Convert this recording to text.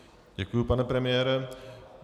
Děkuji, pane premiére.